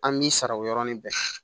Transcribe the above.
An b'i sara o yɔrɔnin bɛɛ